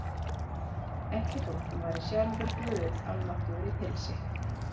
Ekki þótt hún væri sjálfur guð almáttugur í pilsi.